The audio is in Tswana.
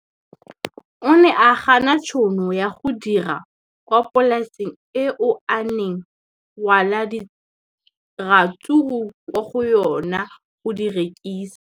O ne a gana tšhono ya go dira kwa polaseng eo a neng rwala diratsuru kwa go yona go di rekisa.